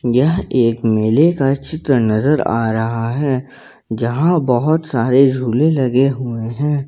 यह एक मेले का चित्र नजर आ रहा है यहां बहुत सारे झूले लगे हुए हैं।